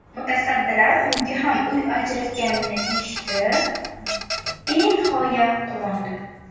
Mutasaddilar unga ham uy ajratganini eshitib, benihoya quvondi.